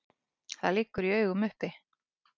Það liggur í augum uppi.